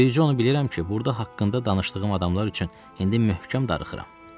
Bircə onu bilirəm ki, burda haqqında danışdığım adamlar üçün indi möhkəm darıxıram.